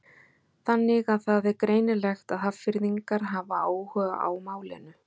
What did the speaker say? Þannig að það er greinilegt að Hafnfirðingar hafa áhuga á málinu?